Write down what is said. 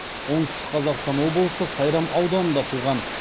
оңтүстік қазақстан облысы сайрам ауданында туған